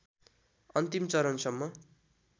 अन्तिम चरणसम्म